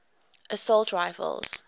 assault rifles